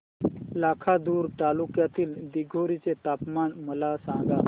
लाखांदूर तालुक्यातील दिघोरी चे तापमान मला सांगा